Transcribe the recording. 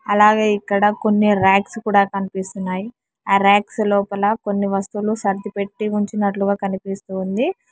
అలాగే ఇక్కడ కొన్ని రాక్స్ కూడా కనిపిస్తున్నాయి ఆ రాక్స్ లోపల కొన్ని వస్తువులు సర్దిపెట్టి ఉంచినట్లుగా కనిపిస్తుంది.